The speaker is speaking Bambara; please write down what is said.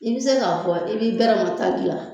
I bɛ se k'a fɔ i b'i bɛrɛma ta gilan.